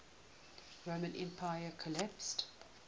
roman empire collapsed